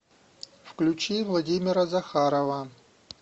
включи владимира захарова